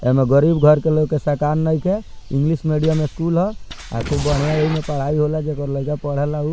एमे गरीब घर के लोग के सकान नइखे इंग्लिश मेडियम स्कूल हअ खूब बढ़िया एमे पढ़ाई होला जेकर लयका पढ़ेला उ --